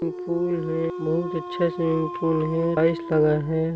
यह पूल है बहुत अच्छा स्विमिंग पूल है लगा हैं।